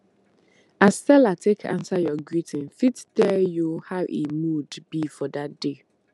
as seller take answer your greeting fit tell you how e mood be for that day